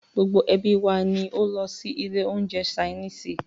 Gbogbo ẹ́bí wa ní o lọ sí ilé oúnjẹ ṣainiisi.